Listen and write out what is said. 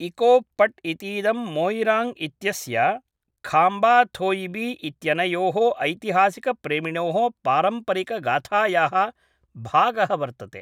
इकोप् पट् इतीदम् मोयिराङ्ग् इत्यस्य खाम्बाथोयिबी इत्यनयोः ऐतिहासिकप्रेमिणोः पारम्परिकगाथायाः भागः वर्तते